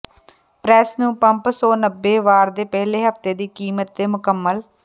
press ਨੂੰ pump ਸੌ ਨੱਬੇ ਵਾਰ ਦੇ ਪਹਿਲੇ ਹਫਤੇ ਦੀ ਕੀਮਤ ਦੇ ਮੁਕੰਮਲ